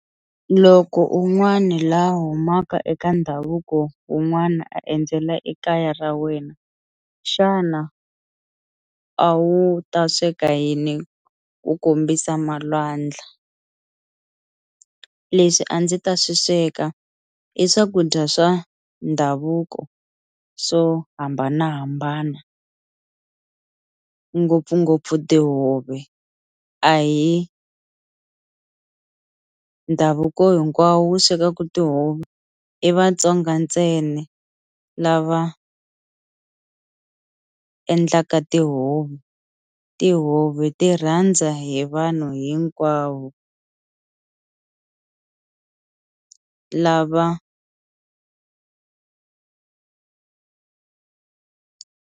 Loko un'wani laha a humaka eka ndhavuko wun'wana a endzela ekaya ra wena xana a wu ta sweka yini ku kombisa malwandla leswi a ndzi ta swi sweka i swakudya swa ndhavuko swo hambanahambana ngopfungopfu tihove a hi ndhavuko hinkwawo wu swekaka tihove i vatsonga ntsena lava endlaka tihove tihove ti rhandza hi vanhu hinkwavo lava.